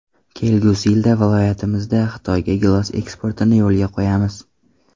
Kelgusi yilda viloyatimizdan Xitoyga gilos eksportini yo‘lga qo‘yamiz.